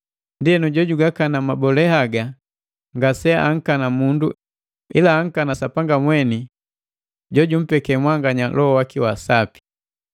Ndienu jojugakana mabole haga ngase ankana mundu ila ankana Sapanga mweni jojumpeke mwanganya Loho waki wa Sapi.